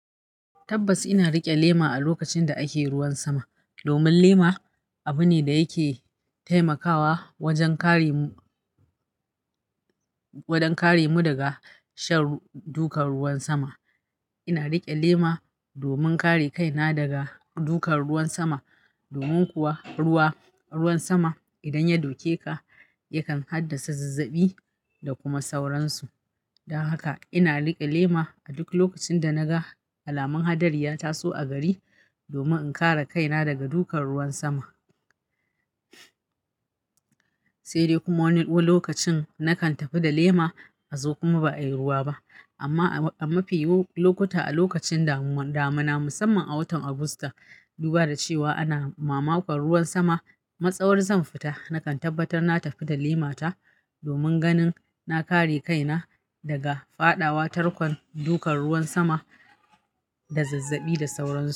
Tabbas ina riƙe lema a lokacin da ake ruwan sama, domin lema abu ne da yake taimakawa wajen kare mu, wajen kare mu daga shan dukan ruwan sama. Ina riƙe lema domin kare kaina daga dukan ruwan sama. Domin kuwa ruwa, ruwan sama idan ya doke ka yakan haddasa zazzabi da kuma sauransu. Don haka ina riƙe lema a duk lokacin da na ga alamar hadari ya taso a gari domin in kare kaina daga dukan ruwan sama. Sai dai kuma wani lokacin nakan tafi da lema a zo kuma ba a yi ruwa ba. Amma, amma fiye lokuta a lokacin damu, damuna musamman a watan Agusta. Duba da cewa ana mamakon ruwan sama, matsawar zan fita nakan tabbatar na tafi da lemata domin ganin na kare kaina daga faɗawa tarkon dukan ruwan sama Da zazzabi da sauransu.